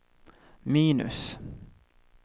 minus